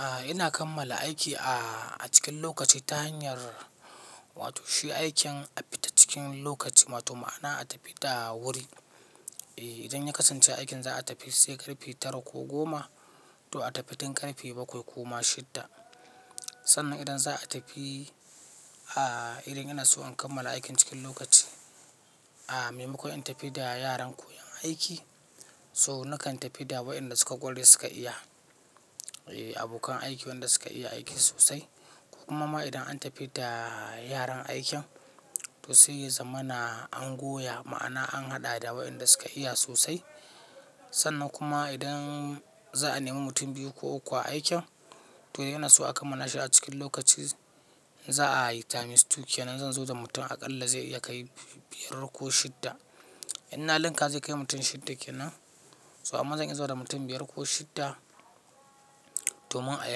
A'a ina kammala aiki a cikin lokaci ta hanyar wato shi aikin a fita cikin lokaci, matu ma'ana a tafi da wuri. E, idan ya kasance aikin za a tafi sai ƙarfe tara ko goma, to a tafi tun ƙarfe bakwai ko ma shidda. Sannan idan za a tafi, a irin ina so in kammala aikin cikin lokaci. A, me maku in tafi da yaran koyon aiki? So nakan tafi da waɗanda suka ƙware suka iya. E, abokan aiki wanda suka iya aiki sosai. Kuma ma idan an tafi da yaran aikin, to sai ya zama na angoya ma'ana an haɗa da waɗanda suka iya sosai. Sannan kuma idan za a nemi mutum biyu ko uku a aikin, to ina so a kammala shi a cikin lokaci, za'a yi ta mi stu. keNan zan zo da mutum aƙalla zai iya kai biyar ko shidda. Ina linka zai kai mutum shidda ke nan? So amma zan iso da mutum biyar ko shidda domin a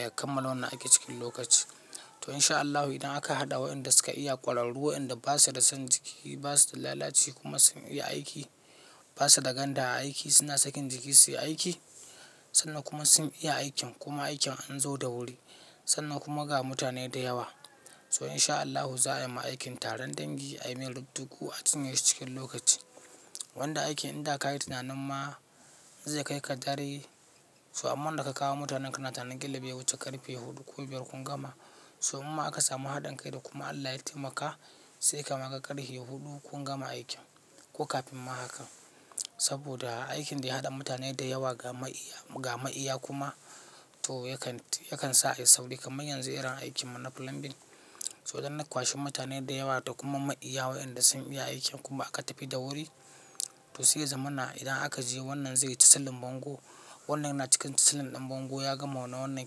ya kammala wannan aikin cikin lokaci. To in sha Allahu idan aka haɗa waɗanda suka iya ƙwalan ruwa, waɗanda basu da son jiki, basu da lalaci kuma sun iya aiki, basa da ganda a aiki, suna sakin jiki su yi aiki. Sannan kuma sun iya aikin kuma aikin an zo da wuri. Sannan kuma ga mutane da yawa. So in sha Allahu za'a yi ma aikin taron dangi, a yi mai rubdugu a cinye shi cikin lokaci. Wanda aikin in da ka yi tunanin ma zai kai ka dare, so amman da ka kawo mutanen kana tinanin kila bai wuce ƙarfe huɗu ko biyar kun gama. So imma aka samu haɗin kai da kuma Allah ya taimaka sai kam aka ƙarshe huɗu kun gama aikin ko kafin ma hakan. Saboda aikin da ya haɗa mutane da yawa ga ma'iya, ga ma'iya kuma to yakan, yakan sa ya yi sauri kamar yanzu eran aikin mu na plumbing. So idan na kwashe mutane da yawa da kuma ma'iya waɗanda sun iya aikin kuma aka tafi da wuri, to sai ya zama na idan aka je wannan zai yi chisel bango, wannan yana cikin chisel ɗin bango ya gama na wannan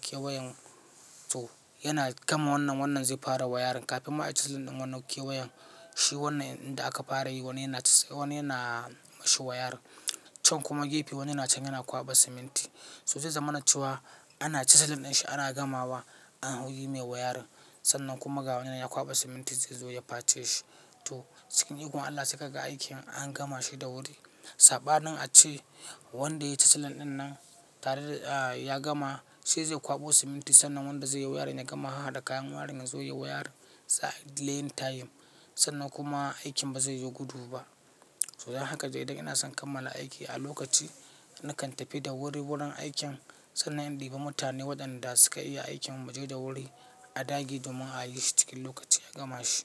kewayan. To yana gama wannan, wannan zai fara wayarin kafin ma a yi chisel ɗin wannan kewayan. Shi wannan inda aka fara yi wannan yana, wannan yana mashi wayarin. Can kuma gefe wani na can yana kwaɓa siminti. To zai zamana cewa ana chaslindinshi ana gamawa an yi mai wayarin. Sannan kuma ga wannan yana kwaɓa siminti zai zo ya face shi. To cikin iko Allah sai ka ga aikin an gama shi da wuri. Saɓanin a ce wanda ya yi chisel ɗin nan tare da a ya gama sai zai kwaɓo siminti sannan wanda zai yi wayarin ya gama haɗa kayan wayarin ya zo ya yi wayarin. Za, ai dileyin time, sannan kuma aikin bazaiyi gudu bah. So dan haka dai dai ina son kammala aiki a lokaci. Nakan tafi da wuri wurin aikin sannan in ɗiba mutane waɗanda suka iya aikin mu je da wuri a dage domin ayishi cikin lokachi agamashi.